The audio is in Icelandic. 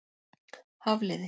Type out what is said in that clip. Hafliði